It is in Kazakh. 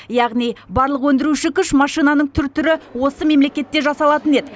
яғни барлық өндіруші күш машинаның түр түрі осы мемлекетте жасалатын еді